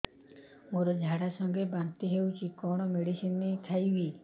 ମୋର ଝାଡା ସଂଗେ ବାନ୍ତି ହଉଚି କଣ ମେଡିସିନ ଖାଇବି